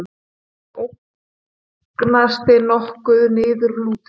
Sá ótignasti nokkuð niðurlútur.